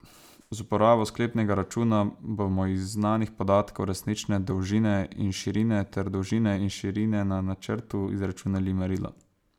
Z uporabo sklepnega računa, bomo iz znanih podatkov, resnične dolžine in širine ter dolžine in širine na načrtu izračunali merilo.